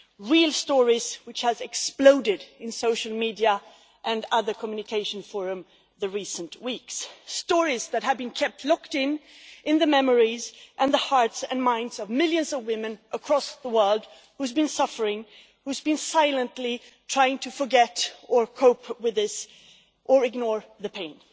Real stories have exploded in social media and other communication forums during recent weeks, stories that have been kept locked in in the memories and the hearts and minds of millions of women across the world, who have been suffering, who have been silently trying to forget or cope with this or ignore the pain.